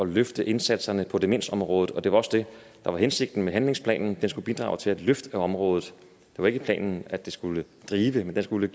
løfte indsatserne på demensområdet og det var også det der var hensigten med handlingsplanen den skulle bidrage til at løfte området det var ikke planen at den skulle drive men den skulle